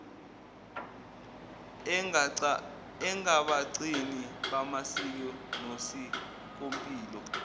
engabagcini bamasiko nosikompilo